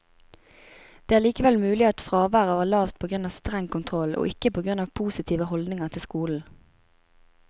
Det er likevel mulig at fraværet var lavt på grunn av streng kontroll, og ikke på grunn av positive holdninger til skolen.